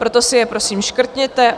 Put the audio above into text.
Proto si je prosím škrtněte.